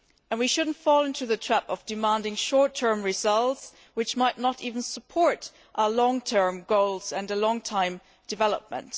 We should not fall into the trap of demanding short term results which might not even support our long term goals and long term development.